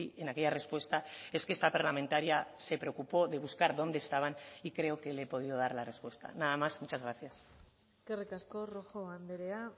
en aquella respuesta es que esta parlamentaria se preocupó de buscar dónde estaban y creo que le he podido dar la respuesta nada más muchas gracias eskerrik asko rojo andrea